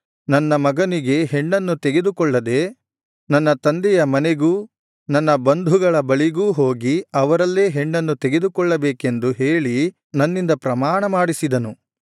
ಮಗನಿಗೆ ಹೆಣ್ಣನ್ನು ತೆಗೆದುಕೊಳ್ಳದೆ ನನ್ನ ತಂದೆಯ ಮನೆಗೂ ನನ್ನ ಬಂಧುಗಳ ಬಳಿಗೂ ಹೋಗಿ ಅವರಲ್ಲೇ ಹೆಣ್ಣನ್ನು ತೆಗೆದುಕೊಳ್ಳಬೇಕೆಂದು ಹೇಳಿ ನನ್ನಿಂದ ಪ್ರಮಾಣ ಮಾಡಿಸಿದನು